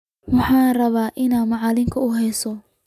Maxan rawaa inan macalinkegu uheeso.